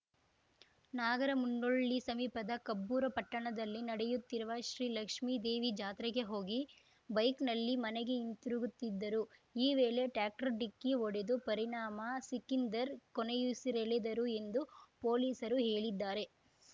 ನಾಗರಮುನ್ನೋಳ್ಳಿ ಸಮೀಪದ ಕಬ್ಬೂರ ಪಟ್ಟಣದಲ್ಲಿ ನಡೆಯುತ್ತಿರುವ ಶ್ರೀಲಕ್ಷ್ಮೇದೇವಿ ಜಾತ್ರೆಗೆ ಹೋಗಿ ಬೈಕ್‌ನಲ್ಲಿ ಮನೆಗೆ ಹಿಂದಿರುಗುತ್ತಿದ್ದರು ಈ ವೇಳೆ ಟ್ರ್ಯಾಕ್ಟರ್‌ ಡಿಕ್ಕಿ ಹೊಡೆದು ಪರಿಣಾಮ ಸಿಕಿಂದರ್‌ ಕೊನೆಯುಸಿರೆಳೆದರು ಎಂದು ಪೊಲೀಸರು ಹೇಳಿದ್ದಾರೆ